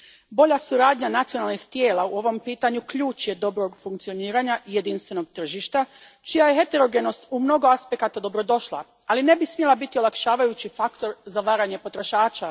Bolja suradnja nacionalnih tijela u ovom pitanju ključ je dobrog funkcioniranja jedinstvenog tržišta, čija je heterogenost u mnogo aspekata dobrodošla, ali ne bi smjela biti olakšavajući faktor za varanje potrošača.